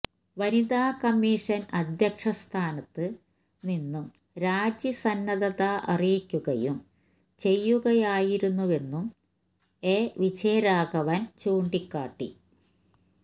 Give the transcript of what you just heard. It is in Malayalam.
വനിതാ കമ്മീഷന് അധ്യക്ഷ സ്ഥാനത്ത് നിന്നും രാജി സന്നദ്ധ അറിയിക്കുകയും ചെയ്യുകയായിരുന്നെന്നും എ വിജയരാഘവന് ചൂണ്ടിക്കാട്ടി